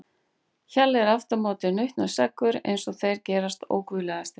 Hjalli er aftur á móti nautnaseggur eins og þeir gerast óguðlegastir.